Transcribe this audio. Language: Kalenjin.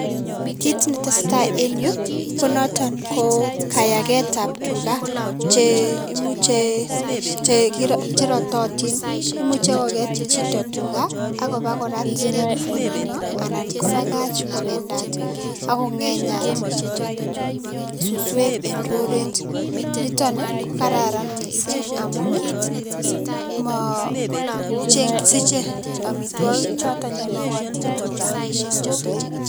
Kiit ne tesetai eng yu konoton ko kayaketab tuga che imuchei che rototin, imuchei koket chito tuga akopo korat eng olindo anan kobakach kobendat ako ngenyat suswek eng roret, nitok kokararan mising amun sichei amitwokik choto makatin tuga eng suswek.